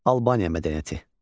Albaniya mədəniyyəti.